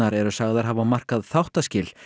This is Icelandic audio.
eru sagðar hafa markað þáttaskil